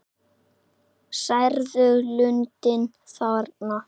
Sérðu lundinn þarna?